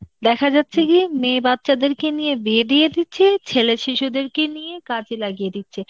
দেখা যাচ্ছে গিয়ে মেয়ে বাচ্চাদেরকে নিয়ে বিয়ে দিয়ে দিচ্ছে, ছেলে শিশুদেরকে নিয়ে কাজে লাগিয়ে দিচ্ছে,